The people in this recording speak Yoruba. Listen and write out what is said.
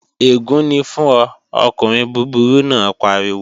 Ègún ni fún ọ, ọkùnrin búburú náà pariwo!